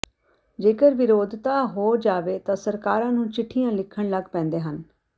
ਜੇਕਰ ਵਿਰੋਧਤਾ ਹੋ ਜਾਵੇ ਤਾਂ ਸਰਕਾਰਾਂ ਨੂੰ ਚਿਠੀਆਂ ਲਿਖਣ ਲਗ ਪੈਦੇ ਹਨ